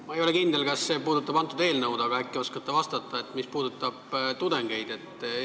Ma ei ole kindel, kas see puudutab seda eelnõu, aga äkki oskate vastata sellele, mis puudutab tudengeid.